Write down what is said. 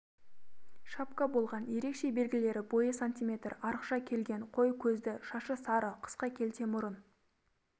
шапка болған ерекше белгілері бойы см арықша келген қой көзді шашы сары қысқа келте мұрын